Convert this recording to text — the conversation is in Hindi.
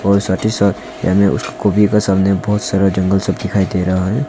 और साथ ही साथ ये हमें बहुत सारा जंगल सब दिखाई दे रहा है।